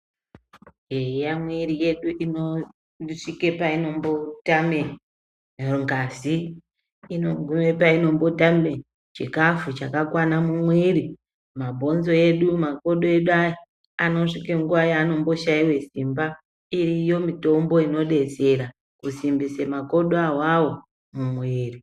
Eya mwiri yedu inosvika painombotame ngazi. Inogume painombotame chikafu chakakwana mumwiri. Mabonzo edu, makodo edu aya anosvike panguwa yaanotame simba. Iriyo mitombo inodetsera kusimbisa makodo awawo mumwiri.